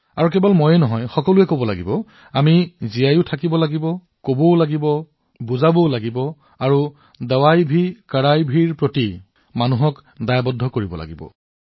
আৰু কেৱল মই কম এনে নহয় আমি জীয়াইও থাকিব লাগিব কবও লাগিব শুনাবও লাগিব আৰু জনসাধাৰণেও ঔষধোকঠোৰতাও ইয়াৰ বাবে প্ৰতিশ্ৰুতিৱদ্ধ হব লাগিব